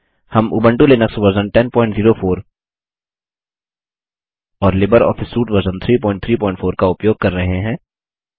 हम उंबटू Linux version 1004 और लिबरऑफिस सूट वर्जन 334 का उपयोग कर रहे हैं